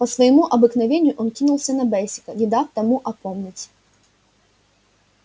по своему обыкновению он кинулся на бэсика не дав тому опомниться